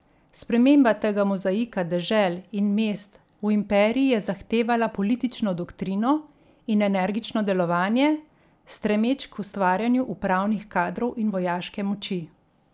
Sprememba tega mozaika dežel in mest v imperij je zahtevala politično doktrino in energično delovanje, stremeč k ustvarjanju upravnih kadrov in vojaške moči.